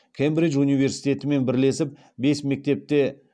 кембридж университетімен бірлесіп бес мектепте